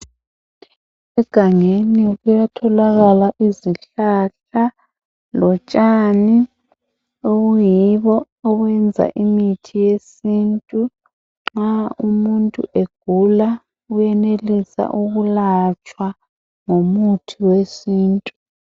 egangeni kuyatholakala izihlahla lotshani obuyibo obunika imithi yesintu nxa umuntu egula uyenelisa ukulatshwa ngomuthi we sintu